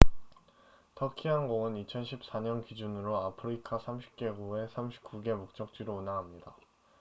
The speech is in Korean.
터키 항공은 2014년 기준으로 아프리카 30개국의 39개 목적지로 운항합니다